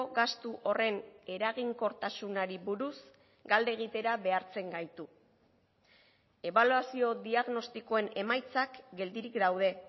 gastu horren eraginkortasunari buruz galde egitera behartzen gaitu ebaluazio diagnostikoen emaitzak geldirik daude